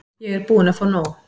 Ég er búin að fá nóg.